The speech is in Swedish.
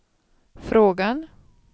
frågan